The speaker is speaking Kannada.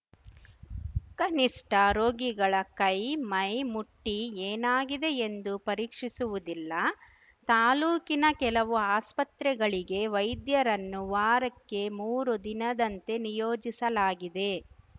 ಕನಿಷ್ಠ ರೋಗಿಗಳ ಕೈ ಮೈ ಮುಟ್ಟಿಏನಾಗಿದೆ ಎಂದು ಪರೀಕ್ಷಿಸುವುದಿಲ್ಲ ತಾಲೂಕಿನ ಕೆಲವು ಆಸ್ಪತ್ರೆಗಳಿಗೆ ವೈದ್ಯರನ್ನು ವಾರಕ್ಕೆ ಮೂರು ದಿನದಂತೆ ನಿಯೋಜಿಸಲಾಗಿದೆ